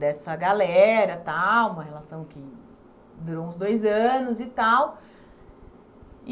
dessa galera tal, uma relação que durou uns dois anos e tal.